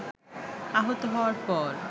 আহত হওয়ার পর